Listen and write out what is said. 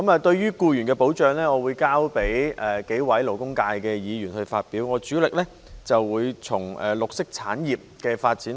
對於僱員的保障，我會交由幾位勞工界的議員發表意見，我主力討論綠色產業的發展。